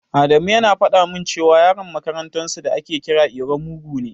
Adamu yana faɗa min cewa Yaron makarantar su da ake kira iro mugu ne.